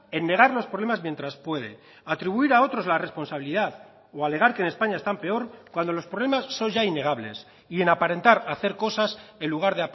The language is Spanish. en negar los problemas mientras puede a atribuir a otros la responsabilidad o alegar que en españa están peor cuando los problemas son ya innegables y en aparentar hacer cosas en lugar